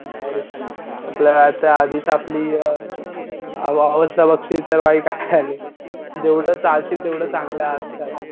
यार आपल्या आता आधीच आपली अ अवस्था बघशील तर वाईट झालीये. जेव्हडं तळाशील तेव्हड चांगलंय आजकाल.